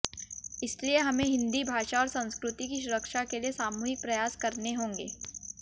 इसलिए हमें हिंदी भाषा और संस्कृति की सुरक्षा के लिए सामूहिक प्रयास करने होंगे